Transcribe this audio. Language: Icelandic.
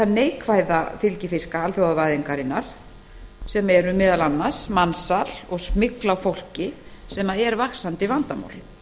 neikvæða fylgifiska alþjóðavæðingarinnar svo sem mansal og smygl á fólki sem eru vaxandi vandamál